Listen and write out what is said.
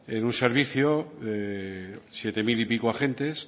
en un servicio de siete mil y pico de agentes